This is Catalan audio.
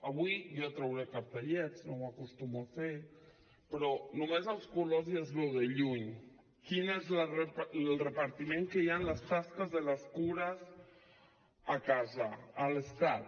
avui jo trauré cartellets no ho acostumo a fer però només amb els colors ja es veu de lluny quin és el repartiment que hi ha en les tasques de les cures a casa a l’estat